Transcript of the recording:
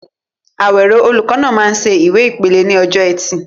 Awero, olùkọ́ náà, máa ń ṣe ìwé ìpele ní ọjọ́ Ẹtì.